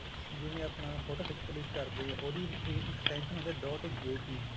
ਜਿਵੇਂ ਆਪਣਾ photo click ਕਰਦੇ ਹਾਂ ਉਹਦੀ extension ਹੁੰਦੀ dot JPEG